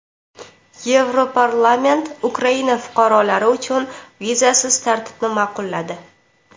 Yevroparlament Ukraina fuqarolari uchun vizasiz tartibni ma’qulladi.